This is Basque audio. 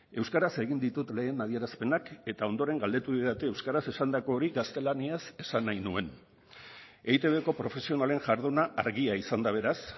euskaraz egin ditut lehen adierazpenak eta ondoren galdetu didate euskaraz esandako hori gaztelaniaz esan nahi nuen eitbko profesionalen jarduna argia izan da beraz